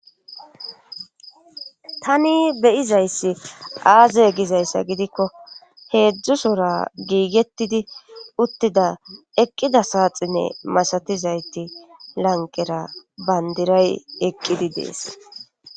tani beyizayssi aaze gizayssa gidikko heedzdzusora giigettidi uttida eqqida saaxinne masatizayti lanqera bandiray eqqidi dees